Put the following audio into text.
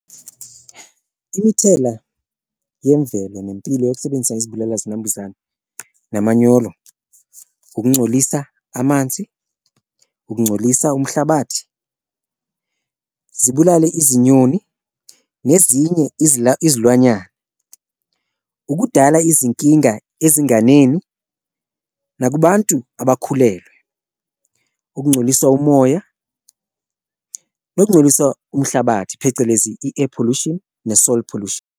Imithela yemvelo nempilo yokusebenzisa izibulala-zinambuzane nomanyolo ukuncolisa amanzi, ukuncolisa umhlabathi, zibulale izinyoni nezinye izilwanyana, ukudala izinkinga ezinganeni, nakubantu abakhulelwe. Ukuncoliswa umoya, nokuncolisa umhlabathi, phecelezi i-air pollution, ne-soil pollution.